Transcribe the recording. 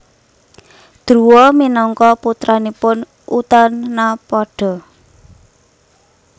Druwa minangka putranipun Utanapada